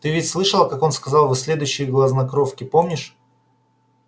ты ведь слышала как он сказал вы следующие грязнокровки помнишь